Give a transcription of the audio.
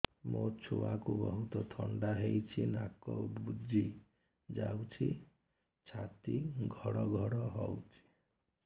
ମୋ ଛୁଆକୁ ବହୁତ ଥଣ୍ଡା ହେଇଚି ନାକ ବୁଜି ଯାଉଛି ଛାତି ଘଡ ଘଡ ହଉଚି